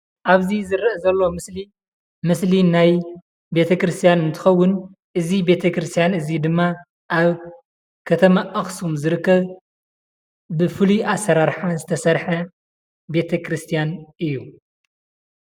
ኣብዚ ዝርአ ዘሎ ምስሊ ምስሊ ናይ ቤተ ክርስትያን እንትኸውን እዚ ቤተ ክርስትያን እዚ ድማ ኣብ ከተማ ኣክሱም ዝርከብ ብፉሉይ ኣሰራርሓ ዝተሰርሐ ቤተ ክርስትያን እዩ።